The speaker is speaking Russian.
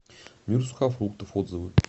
мир сухофруктов отзывы